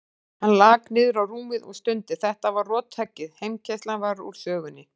Hann lak niður á rúmið og stundi, þetta var rothöggið, heimkeyrslan var úr sögunni.